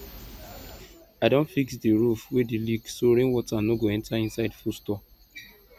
i don fix di roof wey dey leak so rain water no go enter inside food store